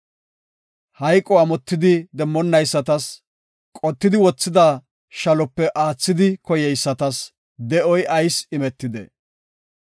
Hayqo amotidi demmonaysatas, qottidi wothida shalope aathidi koyeysatas, de7oy ayis imetidee?